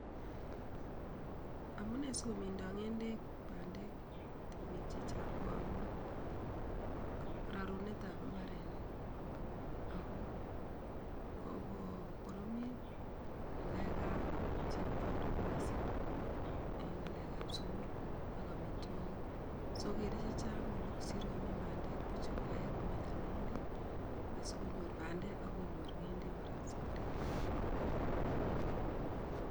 Amunee sikomindo ng'endek bandek temik chechang ko amun rarunetab imbarenik, ako kokokoromit ngalekab chepkondok missing en ngalekab sukul ak amitwogik so kere chechang kosir komiin bandek buch kokaikai kominda ng'endek asikonyor bandek akonyor ng'endek safariit akenge.